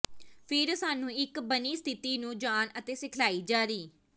ਫਿਰ ਸਾਨੂੰ ਇੱਕ ਬਣੀ ਸਥਿਤੀ ਨੂੰ ਜਾਣ ਅਤੇ ਸਿਖਲਾਈ ਜਾਰੀ